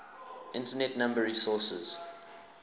internet number resources